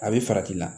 A bɛ farati la